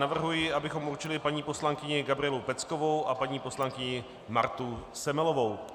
Navrhuji, abychom určili paní poslankyni Gabrielu Peckovou a paní poslankyni Martu Semelovou.